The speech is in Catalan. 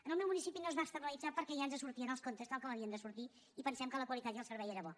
en el meu municipi no es va externalitzar perquè ja ens sortien els comptes tal com havien de sortir i pensem que la qualitat i el servei eren bons